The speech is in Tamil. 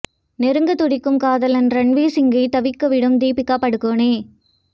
நெருங்கத் துடிக்கும் காதலன் ரன்வீர் சிங்கை தவிக்க விடும் தீபிகா படுகோனே